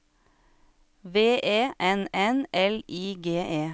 V E N N L I G E